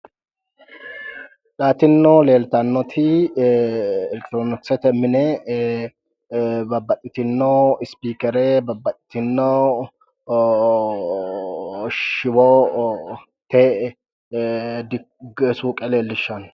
Tinino leeltannoti elektirooniksete mine babbaxxitinno ispiikere babbaxxitinno shiwote suuqe leellishshanno.